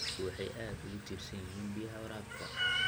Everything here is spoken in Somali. Dadku waxay aad ugu tiirsan yihiin biyaha waraabka.